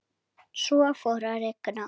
Svo fór að rigna.